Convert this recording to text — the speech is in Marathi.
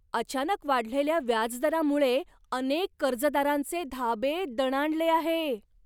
अचानक वाढलेल्या व्याजदरामुळे अनेक कर्जदारांचे धाबे दणाणले आहे.